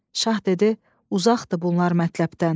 Şah dedi: "Uzaqdır bunlar mətləbdən."